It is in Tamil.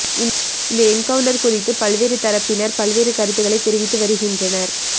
இந்த என்கவுன்ட்டர் குறித்து பல்வேறு தரப்பினர் பல்வேறு கருத்துக்களை தெரிவித்து வருகின்றனர்